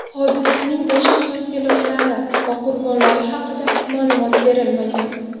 Hodisaning boshqa tafsilotlari va qurbonlar haqida ma’lumot berilmagan.